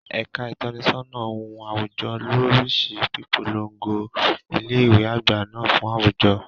Ẹ̀ka ìtọ́nisọ́nà ohun àwùjọ ló ń rí sí pípolongo ilé ìwé àgbà náà fún àwùjọ.